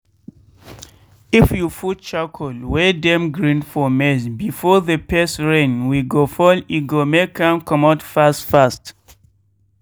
if you fut charcoal wey dem grin for maize before the first rain wey go fall e go make am comot fast fast.